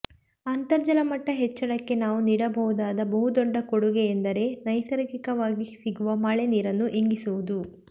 ಅಂತರ್ಜಲ ಮಟ್ಟ ಹೆಚ್ಚಳಕ್ಕೆ ನಾವು ನೀಡಬಹುದಾದ ಬಹುದೊಡ್ಡ ಕೊಡುಗೆಯೆಂದರೆ ನೈಸರ್ಗಿಕವಾಗಿ ಸಿಗುವ ಮಳೆ ನೀರನ್ನು ಇಂಗಿಸುವುದು